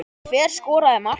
Hver skoraði markið?